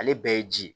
Ale bɛɛ ye ji ye